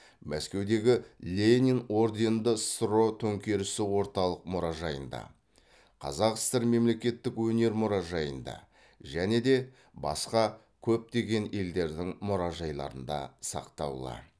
мәскеудегі ленин орденді ссро төңкерісі орталық мұражайында қазақ сср мемлекеттік өнер мұражайында және де басқа көптеген елдердің мұражайларында сақтаулы